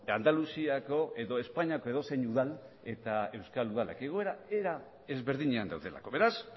andaluziako edo espainiako edozein udal eta euskal udalak egoera era ezberdinean daudelako beraz